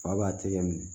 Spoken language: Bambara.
Fa b'a tɛgɛ minɛ